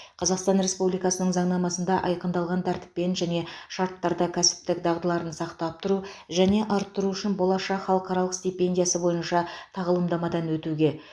қазақстан республикасының заңнамасында айқындалған тәртіппен және шарттарда кәсіптік дағдыларын сақтап тұру және арттыру үшін болашақ халықаралық стипендиясы бойынша тағылымдамадан өтуге